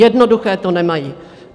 Jednoduché to nemají.